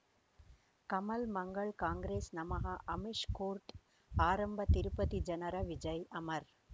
ಕಮಲ್ ಮಂಗಳ್ ಕಾಂಗ್ರೆಸ್ ನಮಃ ಅಮಿಷ್ ಕೋರ್ಟ್ ಆರಂಭ ತಿರುಪತಿ ಜನರ ವಿಜಯ್ ಅಮರ್